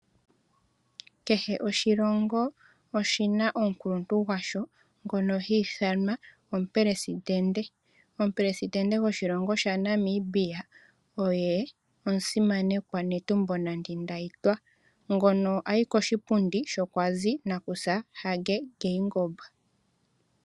Kehe oshilongo oshi na omukuluntu gwasho ngono hi ithanwa omupelesidente. Omupelesidente goshilongo shaNamibia oye omusimanekwa Netumbo Nandi Ndaitwah ngono a yi koshipundi sho kwa zi omusimanekwa Nangolo Mbumba.